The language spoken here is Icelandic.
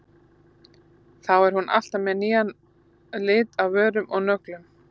Þá er hún alltaf með nýjan lit á vörum og nöglum.